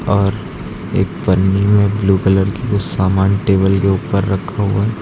और एक पन्नी में ब्लू कलर की कुछ सामान टेबल के ऊपर रखा हुआ--